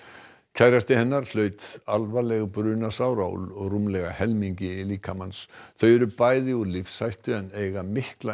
kærasti hennar hlaut alvarleg brunasár á rúmlega helmingi líkama síns þau eru bæði úr lífshættu en eiga mikla